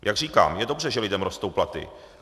Jak říkám, je dobře, že lidem rostou platy.